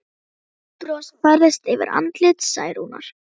Veikt bros færðist yfir andlit Særúnar.